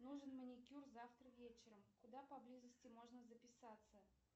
нужен маникюр завтра вечером куда поблизости можно записаться